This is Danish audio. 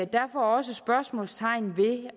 derfor også spørgsmålstegn ved